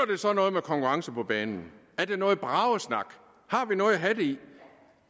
det så noget med konkurrence på banen er det noget bragesnak har vi noget at have del i